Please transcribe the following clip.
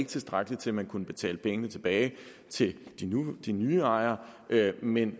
tilstrækkelige til at man kunne betale pengene tilbage til de nye ejere men at